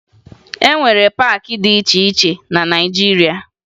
E nwere paakị dị iche iche na Naịjiria